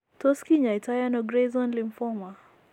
Tos kinyaitoo ano gray zone lymphoma ?